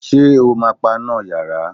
Ṣé o ma paná yàrá?